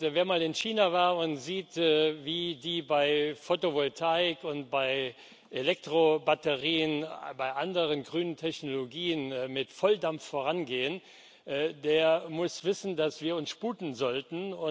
Wenn man in China war und sieht, wie die bei Fotovoltaik, bei Elektrobatterien und bei anderen grünen Technologien mit Volldampf vorangehen, der muss wissen, dass wir uns sputen sollten.